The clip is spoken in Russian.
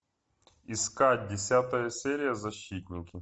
искать десятая серия защитники